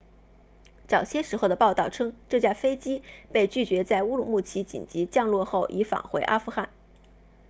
早些时候的报道称这架飞机被拒绝在乌鲁木齐紧急降落后已返回阿富汗